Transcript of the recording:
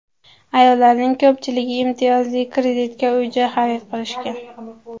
Ayollarning ko‘pchiligi imtiyozli kreditga uy-joy xarid qilishgan.